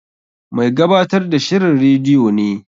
Mai gabatar da shirin rediyo ne.